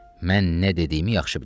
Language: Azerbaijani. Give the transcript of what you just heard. Mən nə dediyimi yaxşı bilirəm.